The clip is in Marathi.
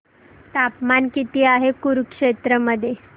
तापमान किती आहे कुरुक्षेत्र मध्ये